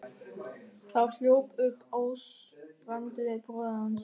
Þá hljóp upp Ásbrandur bróðir hans.